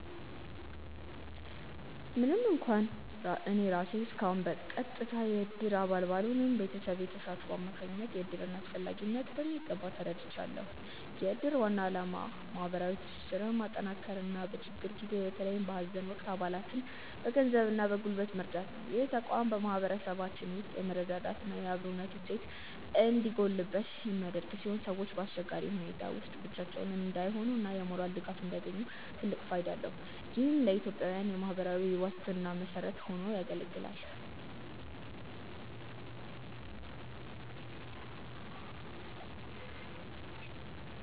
ምንም እንኳን እኔ ራሴ እስካሁን በቀጥታ የእድር አባል ባልሆንም፣ በቤተሰቤ ተሳትፎ አማካኝነት የእድርን አስፈላጊነት በሚገባ ተረድቻለሁ። የእድር ዋና ዓላማ ማህበራዊ ትስስርን ማጠናከርና በችግር ጊዜ በተለይም በሀዘን ወቅት አባላትን በገንዘብና በጉልበት መርዳት ነው። ይህ ተቋም በማህበረሰባችን ውስጥ የመረዳዳትና የአብሮነት እሴት እንዲጎለብት የሚያደርግ ሲሆን፣ ሰዎች በአስቸጋሪ ሁኔታዎች ውስጥ ብቻቸውን እንዳይሆኑና የሞራል ድጋፍ እንዲያገኙ ትልቅ ፋይዳ አለው። ይህም ለኢትዮጵያዊያን የማህበራዊ ዋስትና መሰረት ሆኖ ያገለግላል።